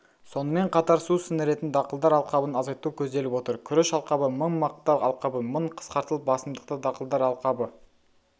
сонымен қатар су сіңіретін дақылдар алқабын азайту көзделіп отыр күріш алқабы мың мақта алқабы мың қысқартылып басымдықты дақылдар алқабы